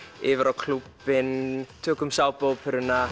yfir á klúbbinn tökum